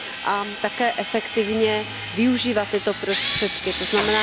A také efektivně využívat tyto prostředky, tzn.